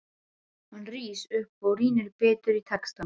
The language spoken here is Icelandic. Hann rís upp og rýnir betur í textann.